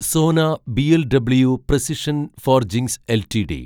Sona BLW precision forgings LTD